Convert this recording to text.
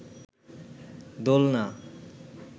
দোলনা